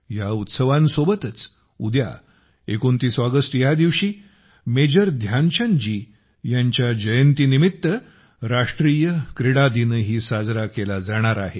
या उत्सवांसोबतच उद्या 29 ऑगस्ट ह्या दिवशी मेजर ध्यानचंद जी यांच्या जयंतीनिमित्त राष्ट्रीय क्रीडा दिनही साजरा केला जाणार आहे